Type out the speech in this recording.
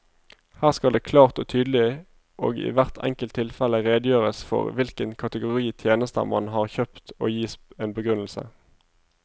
Her skal det klart og tydelig og i hvert enkelt tilfelle redegjøres for hvilken kategori tjenester man har kjøpt og gis en begrunnelse.